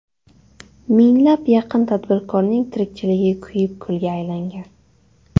Mingga yaqin tadbirkorning tirikchiligi kuyib kulga aylangan .